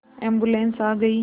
ambulance आ गई